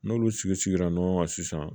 N'olu sigi sigira ɲɔgɔn kan sisan